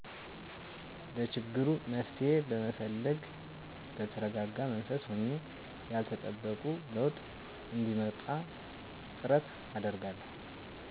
ለችግሩ መፍትሄ በመፈለግ በተረጋጋ መንፈስ ሆኜ ያልተጠበቁ ለውጥ እንዲመጣ ጥረት አደርጋለሁ